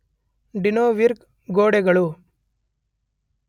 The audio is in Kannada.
ಡಿನೊರ್ವಿಗ್ ಗೋಡೆಗಳು